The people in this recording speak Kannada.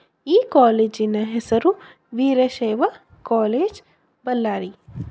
ಈ ಕಾಲೇಜಿನ ಹೆಸರು ವೀರಶೈವ ಕಾಲೇಜ್ ಬಳ್ಳಾರಿ.